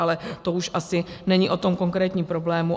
Ale to už asi není o tom konkrétním problému.